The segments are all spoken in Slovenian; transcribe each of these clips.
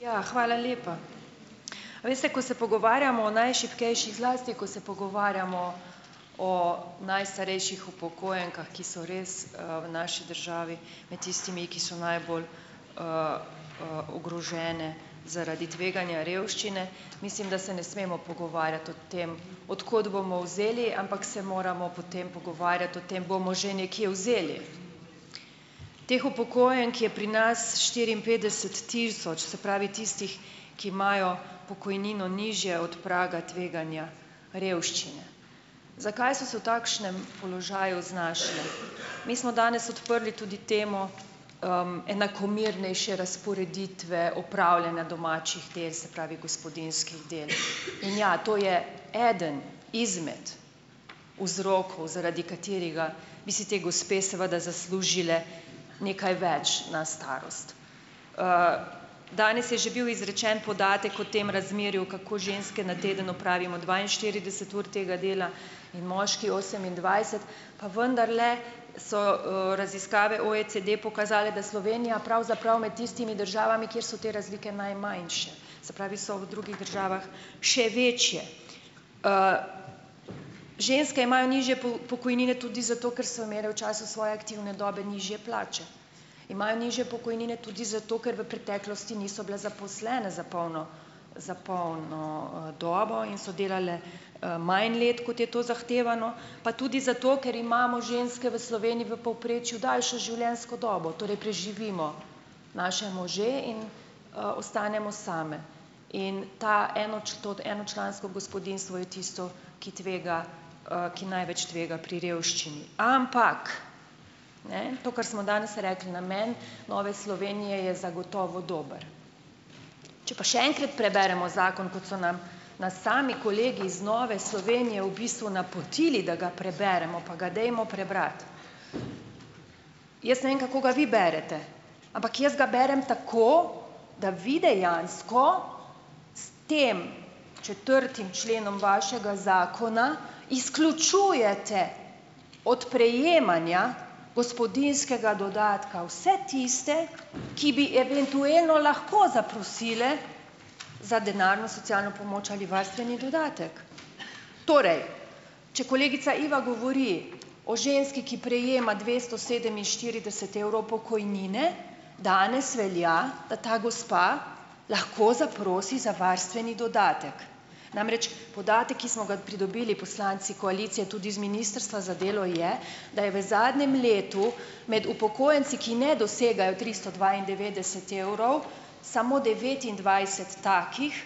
Ja, hvala lepa. A veste, ko se pogovarjamo o najšibkejših, zlasti ko se pogovarjamo o najstarejših upokojenkah, ki so res, v naši državi med tistimi, ki so najbolj, ogrožene zaradi tveganja revščine, mislim, da se ne smemo pogovarjati o tem, od kod bomo vzeli, ampak se moramo potem pogovarjati o tem, bomo že nekje vzeli. Teh upokojenk je pri nas štiriinpetdeset tisoč, se pravi tistih, ki imajo pokojnino nižjo od praga tveganja revščine. Zakaj so se v takšnem položaju znašle? Mi smo danes odprli tudi temo, enakomernejše razporeditve opravljanja domačih tes, se pravi gospodinjskih del. In ja, to je eden izmed vzrokov zaradi katerega bi si ti gospe seveda zaslužile nekaj več na starost. Danes je že bil izrečen podatek o tem razmerju, kako ženske na teden opravimo dvainštirideset ur tega dela in moški osemindvajset, pa vendarle so, raziskave OECD pokazale, da Slovenija pravzaprav med tistimi državami, kjer so te razlike najmanjše, se pravi, so v drugih državah še večje. Ženske imajo nižje pokojnine tudi zato, ker so imele v času svoje aktivne dobe nižje plače, imajo nižje pokojnine tudi zato, ker v preteklosti niso bile zaposlene za polno, za polno, dobo in so delale, manj let, kot je to zahtevano, pa tudi zato, ker imamo ženske v Sloveniji v povprečju daljšo življenjsko dobo, torej preživimo naše može in, ostanemo same. In ta to enočlansko gospodinjstvo je tisto, ki tvega, ki največ tvega pri revščini, ampak ne ... to, kar smo danes rekli, namen Nove Slovenije je zagotovo dober. Če pa še enkrat preberemo zakon, kot so nam nas sami kolegi iz Nove Slovenije v bistvu napotili, da ga preberemo, pa ga dajmo prebrati. Jaz ne vem, kako ga vi berete, ampak jaz ga berem tako, da vi dejansko s tem četrtim členom vašega zakona izključujete od prejemanja gospodinjskega dodatka vse tiste, ki bi eventuelno lahko zaprosile za denarno socialno pomoč ali varstveni dodatek. Torej, če kolegica Iva govori o ženski, ki prejema dvesto sedeminštirideset evrov pokojnine, danes velja, da ta gospa lahko zaprosi za varstveni dodatek. Namreč podatek, ki smo ga pridobili poslanci koalicije tudi z ministrstva za delo je, da je v zadnjem letu med upokojenci, ki ne dosegajo tristo dvaindevetdeset evrov samo devetindvajset takih,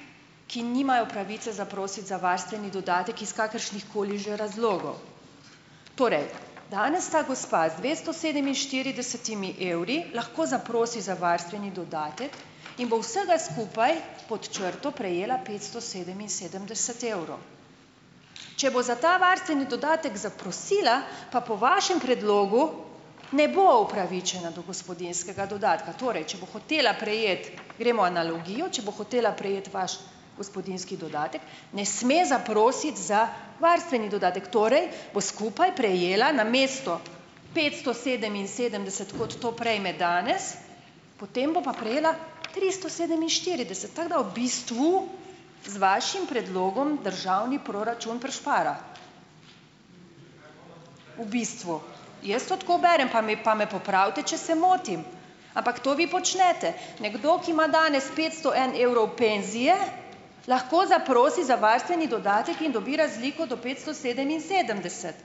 ki nimajo pravice zaprositi za varstveni dodatek iz kakršnihkoli že razlogov. Torej, danes ta gospa z dvesto sedeminštiridesetimi evri lahko zaprosi za varstveni dodatek in bo vsega skupaj pod črto prejela petsto sedeminsedemdeset evrov. Če bo za ta varstveni dodatek zaprosila pa po vašem predlogu, ne bo upravičena do gospodinjskega dodatka. Torej, če bo hotela prejeti, gremo analogijo, če bo hotela prejeti vaš gospodinjski dodatek, ne sme zaprositi za varstveni dodatek, torej bo skupaj prejela namesto petsto sedeminsedemdeset, kot to prejme danes, potem bo pa prejela tristo sedeminštirideset tako da v bistvu z vašim predlogom državni proračun prišpara v bistvu. Jaz to tako berem, pa me, pa me popravite, če se motim, ampak to vi počnete. Nekdo, ki ima danes petsto en evrov penzije, lahko zaprosi za varstveni dodatek in dobi razliko do petsto sedeminsedemdeset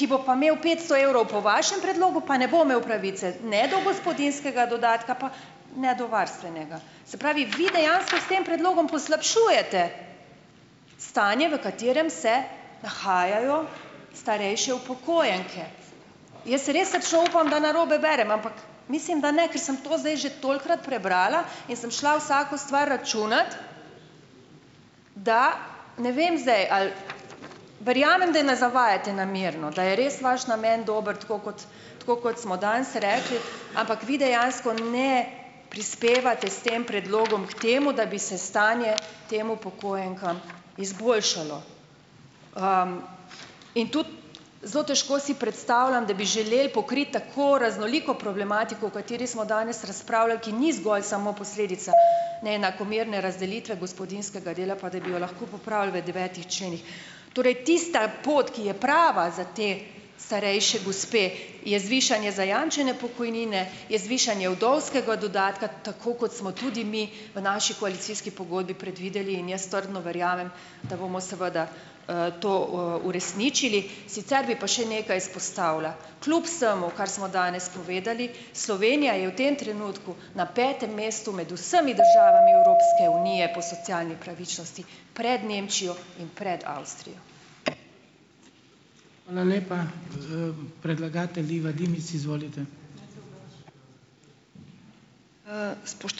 ki bo pa imel petsto evrov po vašem predlogu, pa ne bo imel pravice ne gospodinjskega dodatka pa ne do varstvenega, se pravi, vi dejansko s tem predlogom poslabšujete stanje, v katerem se nahajajo starejše upokojenke. Jaz res srčno upam, da narobe berem, ampak mislim, da ne, ker sem to zdaj že tolikokrat prebrala in sem šla vsako stvar računat, da ne vem zdaj, ali verjamem, da na zavajate namerno, da je res vaš namen dober, tako kot tako kot smo danes rekli, ampak vi dejansko ne prispevate s tem predlogom k temu, da bi se stanje tem upokojenkam izboljšalo, in tudi zelo težko si predstavljam, da bi želeli pokriti tako raznoliko problematiko, o kateri smo danes razpravljali, ki ni zgolj samo posledica neenakomerne razdelitve gospodinjskega dela, pa da bi jo lahko popravili v devetih členih. Torej tista pot, ki je prava za te starejše gospe, je zvišanje zajamčene pokojnine, je zvišanje vdovskega dodatka, tako kot smo tudi mi v naši koalicijski pogodbi predvideli in jaz trdno verjamem, da bomo seveda, to, uresničili. Sicer bi pa še nekaj izpostavila. Kljub vsemu, kar smo danes povedali, Slovenija je v tem trenutku na petem mestu med vsemi državami Evropske unije po socialni pravičnosti, pred Nemčijo in pred Avstrijo.